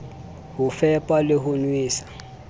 ho fepa le ho nwesa